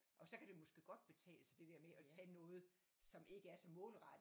Og så kan det jo måske godt betale sig det der med at tage noget som ikke er så målrettet